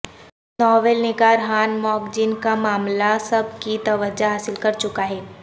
novel نگار ہان موک جن کا معاملہ سب کی توجہ حاصل کر چکا ہے